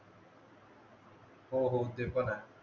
हो हो ते पण आहे